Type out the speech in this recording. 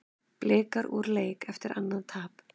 Blikar úr leik eftir annað tap